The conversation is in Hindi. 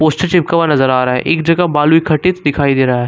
पोस्टर चिपका हुआ नजर आ रहा है एक जगह बालू इकट्ठीत दिखाई दे रहा है।